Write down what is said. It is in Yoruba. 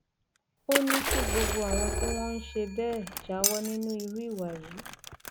ó ní kí gbogbo àwọn tí wọn ń ṣe bẹẹ jáwọ nínú irú ìwà yìí